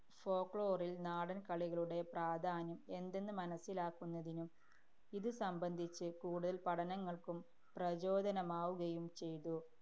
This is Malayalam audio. folklore ല്‍ നാടന്‍ കളികളുടെ പ്രാധാന്യം എന്തെന്ന് മനസ്സിലാക്കുന്നതിനും, ഇതു സംബന്ധിച്ച് കൂടുതല്‍ പഠനങ്ങള്‍ക്കും പ്രചോദനമാവുകയും ചെയ്തു.